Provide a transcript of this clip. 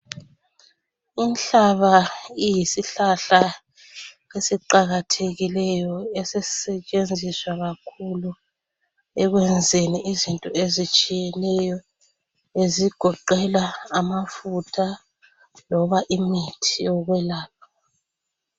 Inhlaba iyisihlahla esiqakathekileyo esesisetshenziswa kakhulu ekwenzeni izinto ezitshiyeneyo ezigoqela amafutha loba imithi yokwelapha.